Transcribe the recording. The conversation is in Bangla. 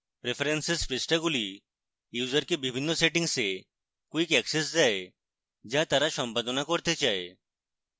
preferences পৃষ্ঠাগুলি ইউসারকে বিভিন্ন সেটিংসে quick access দেয় the তারা সম্পাদনা করতে চায়